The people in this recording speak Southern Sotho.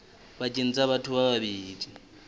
pakeng tsa batho ba babedi